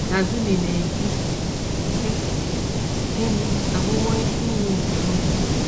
Kazumi na - ekwu sị: Di m abụwo isi iyi nke ume.